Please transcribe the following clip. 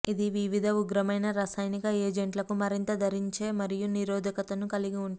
ఇది వివిధ ఉగ్రమైన రసాయనిక ఎజెంట్లకు మరింత ధరించే మరియు నిరోధకతను కలిగి ఉంటుంది